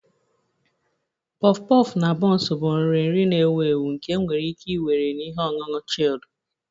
Puff puff na buns bụ nri nri na-ewu ewu nke enwere ike iwere na ihe ọṅụṅụ chilled